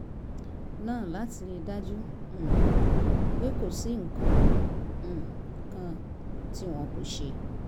náà láti rí i dájú um pé kò sí nǹkan um kan tí wọn kò ṣe